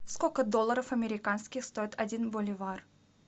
сколько долларов американских стоит один боливар